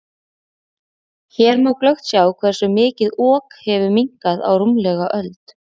Hér má glöggt sjá hversu mikið Ok hefur minnkað á rúmlega öld.